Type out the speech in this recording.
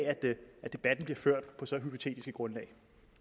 at debatten bliver ført på så hypotetisk et grundlag